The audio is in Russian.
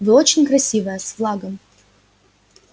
вы очень красивая с флагом